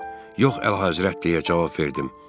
Yox, Əlahəzrət, deyə cavab verdim.